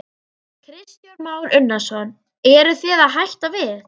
Kristján Már Unnarsson: Eruð þið að hætta við?